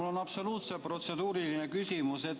Mul on absoluutselt protseduuriline küsimus.